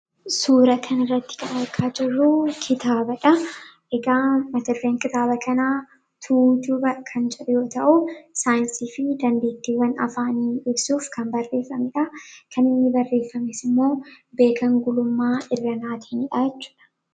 Suuraa kana irraa kan argaa jirruu, kitaabadha. Kitaaba mata dureen kitaaba kanaa Tuujuba kan jedhu yoo ta'u, saayinsii fi dandeettiiwwan afaanii guddisuudhaaf kan barreeffamidha. Kan inni barraa'es Beekan Gulummaa Irranaatiinidha.